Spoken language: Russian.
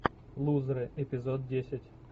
лузеры эпизод десять